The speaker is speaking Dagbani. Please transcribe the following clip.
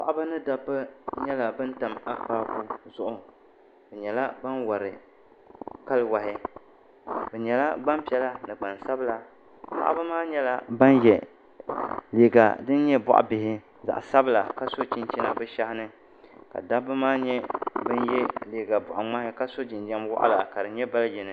paɣaba ni dabba nyɛla ban tam akpaaku zuɣu bɛ nyɛla ban wari kali wahi bɛ nyɛla gbampiɛla ni gbansabila paɣaba maa nyɛla ban ye liiga din nyɛ bɔɣ' bihi zaɣ' sabila ka so chinchina bɛ shehi ni ka dabba maa nyɛ ban ye liiga bɔɣ' ŋmahi ka so jinjam waɣila ka di nyɛ bal' yini